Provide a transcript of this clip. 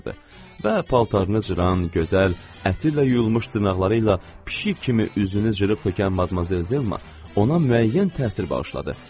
Və paltarını cıran, gözəl, ətirlə yuyulmuş dırnaqları ilə pişik kimi üzünü cırıb tökən Madmazel Zelma ona müəyyən təsir bağışladı.